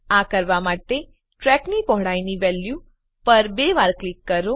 આ કરવા માટે ટ્રેકની પહોળાઈની વેલ્યુ પર બે વાર ક્લિક કરો